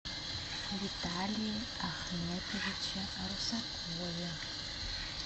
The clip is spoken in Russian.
виталии ахметовиче русакове